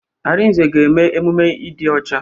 Arinze ga-eme emume ịdị ọcha.